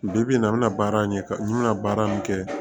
Bi bi in na n bɛna baara in kɛ ka n bɛna baara min kɛ